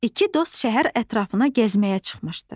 İki dost şəhər ətrafına gəzməyə çıxmışdı.